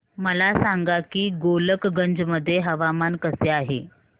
मला सांगा की गोलकगंज मध्ये हवामान कसे आहे